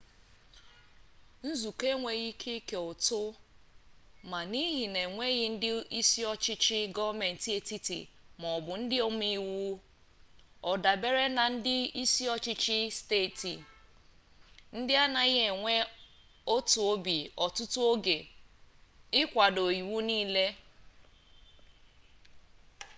nzukọ enweghị ike ike ụtụ ma n'ihi na enweghi ndị isi ọchịchị gọọmenti etiti maọbụ ndị omeiwu ọ dabeere na ndị isi ọchịchị steeti ndị anaghị enwe otu obi ọtụtụ oge ịkwado iwu ya nile